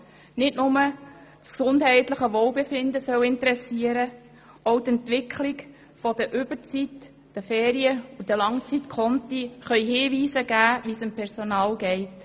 Nicht nur das gesundheitliche Wohlbefinden soll interessieren, auch die Entwicklungen bei der Überzeit, den Ferien und den Langzeitkonten können Hinweise darauf geben, wie es dem Personal geht.